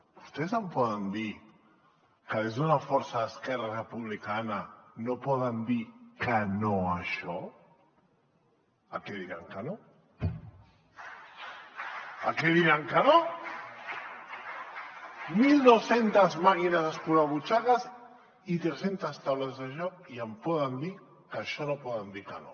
vostès em poden dir que des d’una força d’esquerra republicana no poden dir que no a això a què diran que no a què diran que no mil dos centes màquines escurabutxaques i tres centes taules de joc i em poden dir que a això no poden dir que no